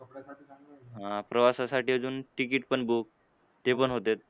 हां प्रवासासाठी अजून तिकीट पण book ते पण होत्यात.